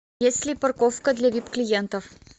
есть ли парковка для вип клиентов